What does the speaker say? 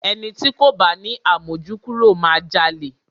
Ẹni ti kò bá ni àmójúkúrò máa jalè.